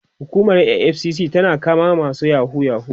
hukumar EFCC na ta kama masu yahoo yahoo